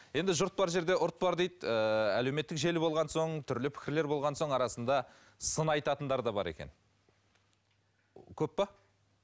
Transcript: жұрт бар жерде ұрт бар дейді ііі әлеуметтік желі болған соң түрлі пікірлер болған соң арасында сын айтатындар да бар екен көп пе